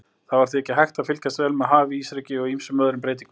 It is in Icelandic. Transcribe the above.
Það var því ekki hægt að fylgjast vel með hafísreki og ýmsum öðrum breytingum.